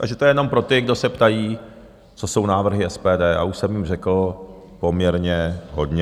Takže to je jenom pro ty, kdo se ptají, co jsou návrhy SPD, a už jsem jich řekl poměrně hodně.